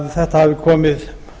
það hafi komið